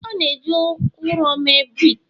A na-eji ụrọ mee brik